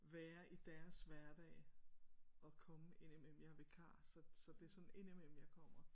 Være i deres hverdag og komme indimellem jeg er vikar så så det det er sådan indimellem jeg kommer